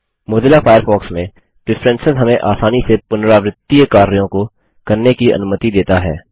Mozilla Firefox में preference हमें आसानी से पुनरावृत्तीय कार्यों को करने की अनुमति देता है